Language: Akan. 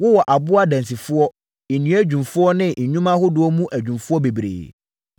Wowɔ aboɔ adansifoɔ, nnua adwumfoɔ ne nnwuma ahodoɔ mu adwumfoɔ bebree.